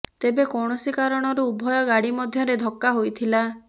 ତେବେ କୌଣସି କାରଣରୁ ଉଭୟ ଗାଡ଼ି ମଧ୍ୟରେ ଧକ୍କା ହୋଇଥିଲା